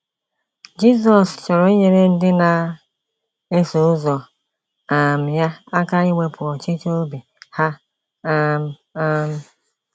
Jizọs chọrọ inyere ndị na - eso ụzọ um ya aka iwepụ ọchịchọ obi ha um. um